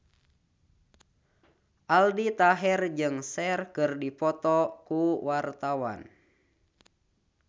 Aldi Taher jeung Cher keur dipoto ku wartawan